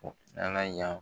N'Ala y'a